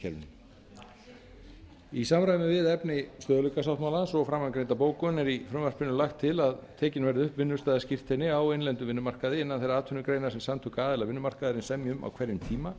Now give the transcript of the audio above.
atvinnuleysistryggingakerfinu í samræmi við efni stöðugleikasáttmálans og framangreinda bókun er í frumvarpinu lagt til að tekin verði upp vinnustaðaskírteini á innlendum vinnumarkaði innan þeirra atvinnugreina sem samtök aðila vinnumarkaðarins semja um á hverjum tíma